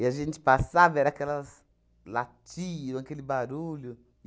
a gente passava, era aquelas latiam, aquele barulho.